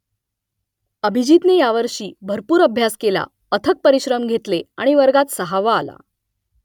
अभिजीतने यावर्षी भरपूर अभ्यास केला अथक परिश्रम घेतले आणि वर्गात सहावा आला